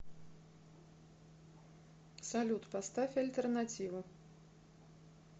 салют поставь альтернативу